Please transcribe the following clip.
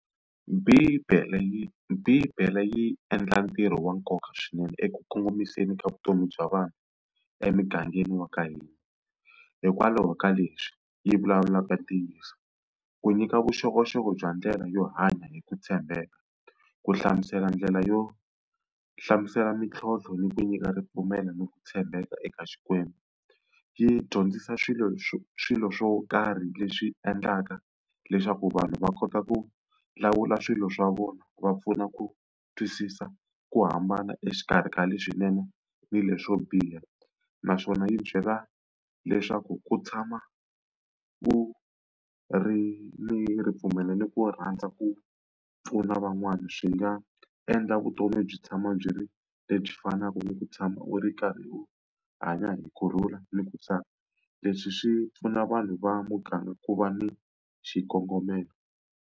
Bibele yi Bibele yi endla ntirho wa nkoka swinene eku kongomiseni ka vutomi bya vanhu emugangeni wa ka hina. Hikwalaho ka leswi yi vulavulaka ntiyiso, ku nyika vuxokoxoko bya ndlela yo hanya hi ku tshembeka, ku hlamusela ndlela yo hlamusela mintlhontlho ni ku nyika ripfumelo ni ku tshembeka eka Xikwembu. Yi dyondzisa swilo swilo swo karhi leswi endlaka leswaku vanhu va kota ku lawula swilo swa vona, va pfuna ku twisisa, ku hambana exikarhi ka le swinene ni leswo biha. Naswona yi byela leswaku ku tshama ku ri ni ripfumelo ni ku rhandza ku pfuna van'wana, swi nga endla vutomi byi tshama byi ri lebyi fanaka ni ku tshama u ri karhi u hanya hi kurhula ni ku tsaka. Leswi swi pfuna vanhu va muganga ku va ni xikongomelo.